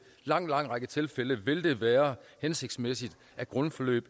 lang lang række tilfælde vil det være hensigtsmæssigt at grundforløb